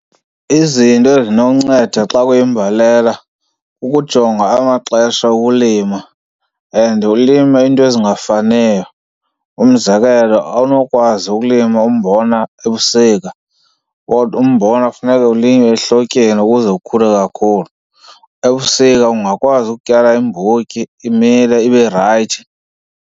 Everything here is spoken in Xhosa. Izinto ezinokunceda xa kuyimbalela kukujonga amaxesha okulima and ulime into ezingafaniyo. Umzekelo awunokwazi ukulima umbona ebusika kodwa umbona kufuneka ulinywe ehlotyeni ukuze ukhule kakhulu. Ebusika ungakwazi ukutyala iimbotyi imile ibe rayithi.